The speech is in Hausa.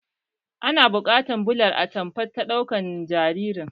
Ina buƙatar bular atamfa ta sadaukar jaririn